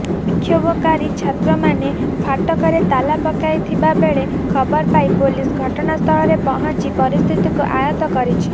ବିକ୍ଷୋଭକାରୀ ଛାତ୍ରୀମାନେ ଫାଟକରେ ତାଲା ପକାଇଥିବା ବେଳେ ଖବର ପାଇ ପୋଲିସ ଘଟଣାସ୍ଥାଳରେ ପହଞ୍ଚି ପରିସ୍ଥିତିକୁ ଆୟତ କରିଛି